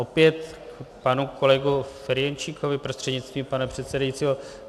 Opět k panu kolegovi Ferjenčíkovi prostřednictvím pana předsedajícího.